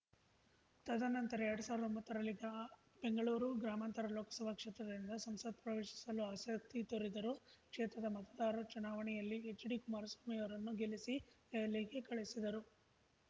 ತದನಂತರ ಎರಡ್ ಸಾವ್ರ್ದಾ ಒಂಬತ್ತರಲ್ಲಿ ಬೆಂಗಳೂರು ಗ್ರಾಮಾಂತರ ಲೋಕಸಭಾ ಕ್ಷೇತ್ರದಿಂದ ಸಂಸತ್‌ ಪ್ರವೇಶಿಸಲು ಆಸಕ್ತಿ ತೋರಿದರು ಕ್ಷೇತ್ರದ ಮತದಾರರು ಚುನಾವಣೆಯಲ್ಲಿ ಎಚ್‌ಡಿಕುಮಾರಸ್ವಾಮಿ ಅವರನ್ನು ಗೆಲ್ಲಿಸಿ ದೆಹಲಿಗೆ ಕಳುಹಿಸಿದರು